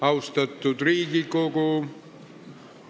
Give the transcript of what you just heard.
Austatud Riigikogu!